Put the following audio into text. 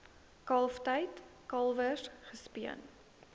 kalftyd kalwers gespeen